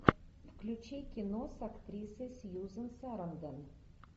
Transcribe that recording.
включи кино с актрисой сьюзан сарандон